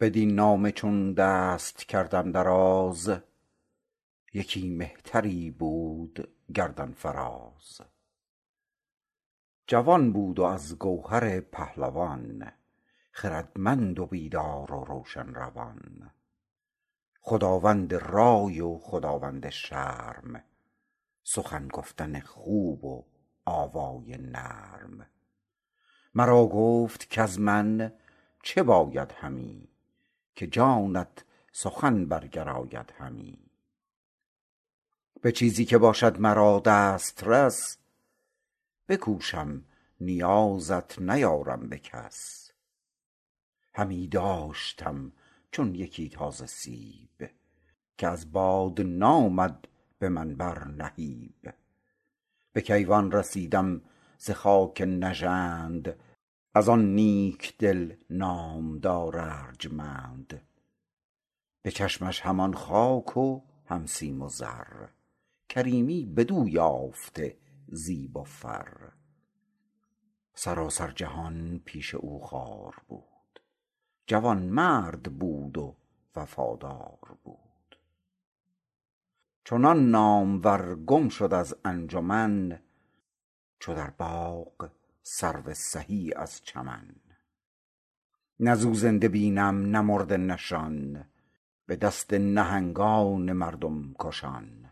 بدین نامه چون دست کردم دراز یکی مهتری بود گردن فراز جوان بود و از گوهر پهلوان خردمند و بیدار و روشن روان خداوند رای و خداوند شرم سخن گفتن خوب و آوای نرم مرا گفت کز من چه باید همی که جانت سخن برگراید همی به چیزی که باشد مرا دسترس بکوشم نیازت نیارم به کس همی داشتم چون یکی تازه سیب که از باد نامد به من بر نهیب به کیوان رسیدم ز خاک نژند از آن نیک دل نامدار ارجمند به چشمش همان خاک و هم سیم و زر کریمی بدو یافته زیب و فر سراسر جهان پیش او خوار بود جوانمرد بود و وفادار بود چنان نامور گم شد از انجمن چو در باغ سرو سهی از چمن نه ز او زنده بینم نه مرده نشان به دست نهنگان مردم کشان